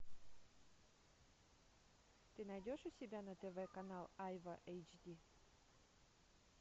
ты найдешь у себя на тв канал айва эйч ди